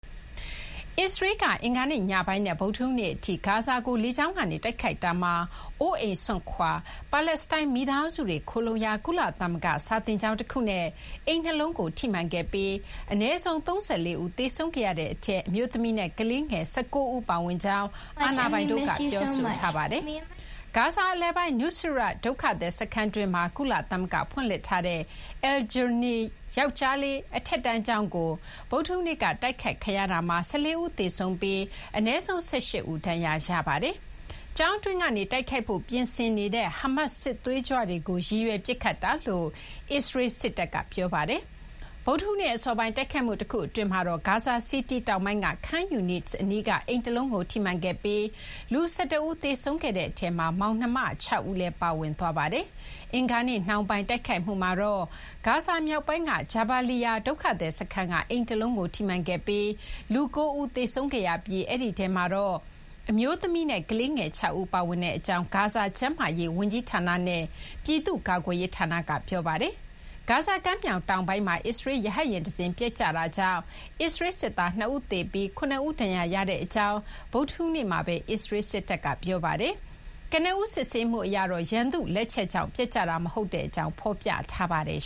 အစ္စရေးလ်က အင်္ဂါနေ့ညပိုင်းနဲ့ ဗုဒ္ဓဟူးနေ့အထိ ဂါဇာကို လေကြောင်းကတိုက်ခိုက်တာမှာ အိုးအိမ်စွန့်ခွာ ပါလက်စတိုင်းမိသားစုတွေ ခိုလှုံရာ ကုလသမဂ္ဂစာသင်ကျောင်းတခုနဲ့ အိမ်နှစ်လုံးကို ထိမှန်ခဲ့ပြီး အနည်းဆုံး ၃၄ ဦး သေဆုံးခဲ့ရတဲ့အထဲ အမျိုးသမီးနဲ့ကလေးငယ် ၁၉ ဦး ပါဝင်ကြောင်း အာဏာပိုင်တို့က ပြောထားပါတယ်။ ဂါဇာ အလယ်ပိုင်း Nuseirat ဒုက္ခသည်စခန်းတွင်းမှာ ကုလသမဂ္ဂဖွင့်လှစ်ထားတဲ့ Al-Jaouni ယောက်ကျေားလေး အထက်တန်းကျောင်းကို ဗုဒ္ဓဟူးနေ့ကတိုက်ခိုက်ခံရတာမှာ ၁၄ ဦး သေဆုံးပြီး အနည်းဆုံး ၁၈ ဦး ဒဏ်ရာရခဲ့ပါတယ်။ ကျောင်းအတွင်းကနေ တိုက်ခိုက်ဖို့ပြင်ဆင်နေတဲ့ ဟာမတ်စ် စစ်သွေးကြွတွေကို ရည်ရွယ်ပစ်ခတ်တာလို့ အစ္စရေးလ်စစ်တပ်က ပြောပါတယ်။ ဗုဒ္ဓဟူးနေ့အစောပိုင်း တိုက်ခိုက်မှုတခု အတွင်းမှာတော့ ဂါဇာစီးတီးတောင်ပိုင်း Khan Younis အနီးက အိမ်တလုံးကိုထိမှန်ခဲ့ပြီး လူ ၁၁ ဦး သေဆုံးခဲ့တဲ့ထဲမှာ မောင်နှမ ၆ ဦးလည်း ပါဝင်ပါတယ်။ အင်္ဂါနေ့ နှောင်းပိုင်းတိုက်ခိုက်မှုမှာတော့ ဂါဇာမြောက်ပိုင်း Jabaliya ဒုက္ခသည်စခန်းက အိမ်တလုံးကိုထိမှန်ခဲ့ပြီး လူ ၉ ဦး သေဆုံးခဲ့ရတဲ့ အထဲမှာ အမျိုးသမီးနဲ့ကလေးငယ် ၆ ဦး ပါဝင်ကြောင်း ဂါဇာကျန်းမာရေးဝန်ကြီးဌာနနဲ့ ပြည်သူ့ကာကွယ်ရေးဌာနက ပြောပါတယ်။ တချိန်တည်းမှာပဲ ဂါဇာကမ်းမြာင်တောင်ပိုင်းမှာ အစ္စရေးလ်ရဟတ်ယာဉ်တစင်းပျက်ကျတာကြောင့် အစ္စရေးလ်စစ်သား ၂ ဦးသေပြီး ၇ ဦး ဒဏ်ရာရရှိကြောင်း ဗုဒ္ဓဟူးနေ့မှာ အစ္စရေးလ်စစ်တပ်က ပြောပါတယ်။ ကနဦးစစ်ဆေးမှုအရတော့ ရန်သူ့လက်ချက်ကြောင့် ပျက်ကျတာ မဟုတ်ကြောင်း ဖော်ပြပါတယ်